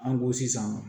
An ko sisan